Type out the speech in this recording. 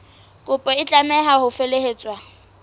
kopo e tlameha ho felehetswa